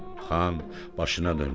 Xan, başına dönüm.